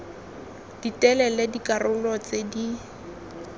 di telele dikarolo tse di